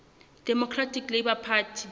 democratic labour party